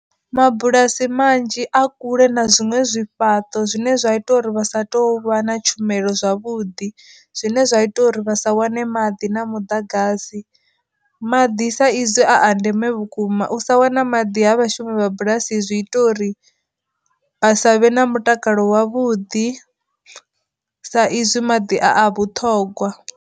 Mabulasi manzhi a kule na zwiṅwe zwifhaṱo zwine zwa ita uri vha sa tou vha na tshumelo zwavhuḓi zwine zwa ita uri vhasa wane maḓi na muḓagasi, maḓi sa izwi a ndeme vhukuma u sa wana maḓi ha vhashumi vha bulasi zwi ita uri vha sa vhe na mutakalo wavhuḓi sa izwi maḓi a a vhuṱhogwa.